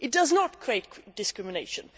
It does not create discrimination.